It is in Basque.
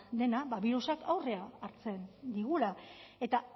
dena ba birusak aurrea hartzen digula eta